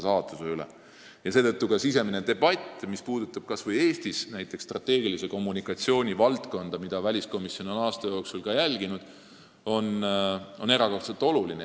Seetõttu on erakordselt oluline riigisisene debatt, mis puudutab kas või strateegilise kommunikatsiooni valdkonda Eestis, mida väliskomisjon on aasta jooksul ka jälginud.